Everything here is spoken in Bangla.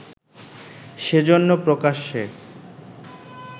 সেজন্য প্রকাশ্যে